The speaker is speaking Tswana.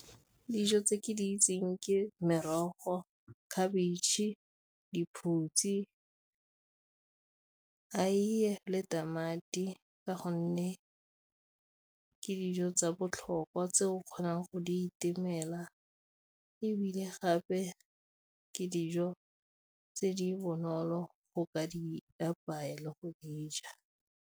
Dijo tse ke di itseng ke merogo, khabetšhe, diphutsi, aeiye le tamati ka gonne ke dijo tsa botlhokwa tse o kgonang go di itemela, ebile gape ke dijo tse di bonolo go ka Di apaya le go dija.